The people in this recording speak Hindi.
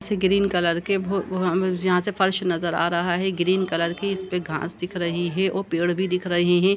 इस ग्रीन कलर के भो हमें यहाँं से फर्श नजर आ रहा है। ग्रीन कलर की इसपे घास दिख रही है और पेड़ भी दिख रहे हैं।